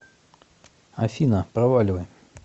афина проваливай